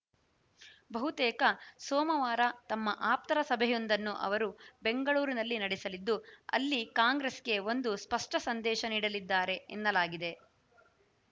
ಬಹುತೇಕ ಸೋಮವಾರ ತಮ್ಮ ಆಪ್ತರ ಸಭೆಯೊಂದನ್ನು ಅವರು ಬೆಂಗಳೂರಿನಲ್ಲಿ ನಡೆಸಲಿದ್ದು ಅಲ್ಲಿ ಕಾಂಗ್ರೆಸ್‌ಗೆ ಒಂದು ಸ್ಪಷ್ಟಸಂದೇಶ ನೀಡಲಿದ್ದಾರೆ ಎನ್ನಲಾಗಿದೆ